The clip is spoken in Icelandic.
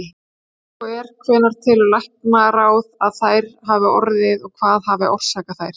Ef svo er, hvenær telur læknaráð, að þær hafi orðið og hvað hafi orsakað þær?